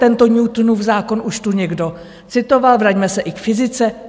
Tento Newtonův zákon už tu někdo citoval, vraťme se i k fyzice.